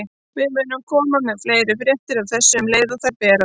Við munum koma með fleiri fréttir af þessu um leið og þær berast.